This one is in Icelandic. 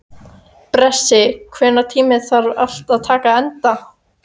Bresi, einhvern tímann þarf allt að taka enda.